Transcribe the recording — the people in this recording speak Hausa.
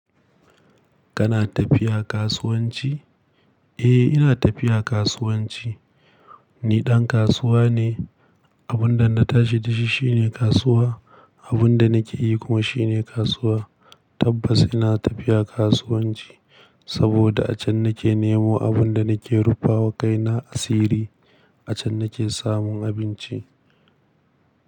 Kana tafiya kasuwanci? Eh, ina tafiya kasuwanci. Ni ɗan kasuwa ne. Abun da na tashi da shi shine kasuwa, abun da nake yi kuma shine kasuwa. Tabbas ina tafiya kasuwanci saboda a can nake nemo abin da nake rufa wa kaina asiri. A can nake samun abinci.